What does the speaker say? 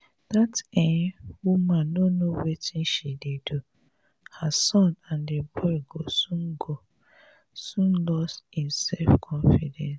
dat um woman no know wetin she dey do her son and the boy go soon go soon lose im self confidence